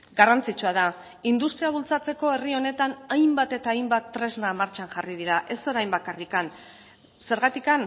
garrantzitsua da industria bultzatzeko herri honetan hainbat eta hainbat tresna martxan jarri dira ez orain bakarrik zergatik